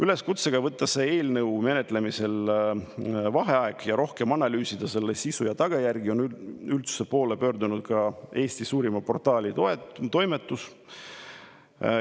Üleskutsega võtta selle eelnõu menetlemisel vaheaeg ja rohkem analüüsida selle sisu ja tagajärgi on üldsuse poole pöördunud ka Eesti suurima portaali toimetus.